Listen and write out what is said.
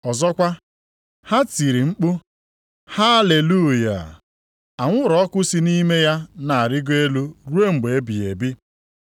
Ọzọkwa, ha tiri mkpu, “Haleluya! Anwụrụ ọkụ si nʼime ya na-arịgo elu ruo mgbe ebighị ebi.”